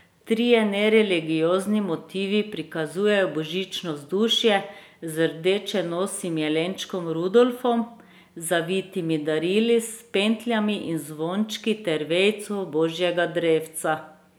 Trije nereligiozni motivi prikazujejo božično vzdušje z rdečenosim jelenčkom Rudolfom, zavitimi darili s pentljami in zvončki ter vejico božjega drevca...